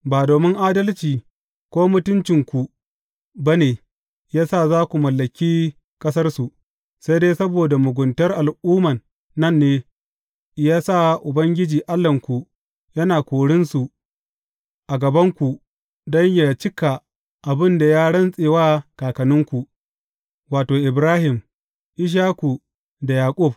Ba domin adalci ko mutuncinku ba ne ya sa za ku mallaki ƙasarsu; sai dai saboda muguntar al’umman nan ne ya sa Ubangiji Allahnku yana korinsu a gabanku don yă cika abin da ya rantse wa kakanninku, wato, Ibrahim, Ishaku da Yaƙub.